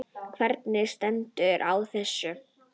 Hvernig stendur á þessu?